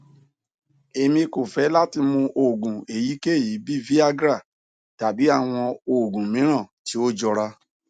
emi ko fẹ lati mu oogun eyikeyi bii viagra tabi awọn oogun miiran ti o jọra